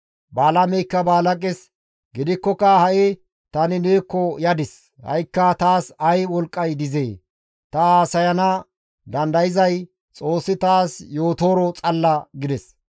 Balaameykka Balaaqes, «Gidikkoka ha7i tani neekko yadis; ha7ikka taas ay wolqqay dizee? Ta haasayana dandayzay Xoossi taas yootooro xalla» gides.